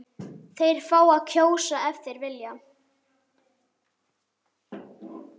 Þeir fá að kjósa- ef þeir vilja.